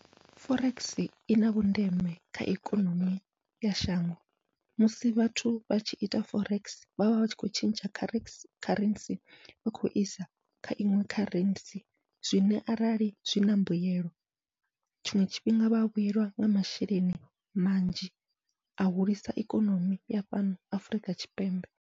Forex ina vhundeme kha ikonomi ya shango, musi vhathu vha tshi ita forex vhavha vhatshi kho tshintsha kharesi kharentsi vha khou isa kha iṅwe kharentsi, zwine arali zwina mbuyelo tshiṅwe tshifhinga vha vhuyelwa nga masheleni manzhi a hulisa ikonomi ya fhano Afurika Tshipembe.